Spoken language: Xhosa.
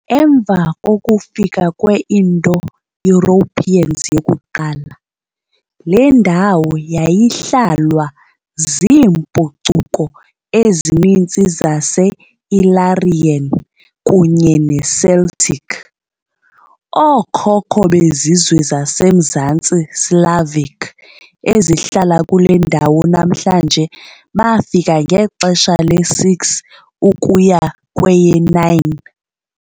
Emva kokufika kwe -Indo-Europeans yokuqala, le ndawo yayihlalwa ziimpucuko ezininzi zaseIllyrian kunye neCeltic. Ookhokho bezizwe zaseMzantsi Slavic ezihlala kule ndawo namhlanje bafika ngexesha le-6 ukuya kweye-9.